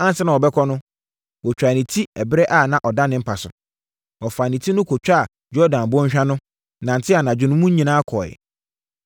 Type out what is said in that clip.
Ansa na wɔbɛkɔ no, wɔtwaa ne ti ɛberɛ a ɔda ne mpa so. Wɔfaa ne ti no kɔtwaa Yordan bɔnhwa no, nantee anadwo mu no nyinaa kɔeɛ.